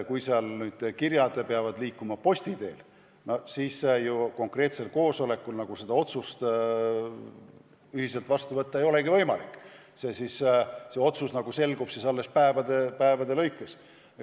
Kui kirjad peavad liikuma posti teel, siis ju konkreetsel koosolekul seda otsust ühiselt vastu võtta ei olegi võimalik, otsus selgub alles mõne päeva pärast.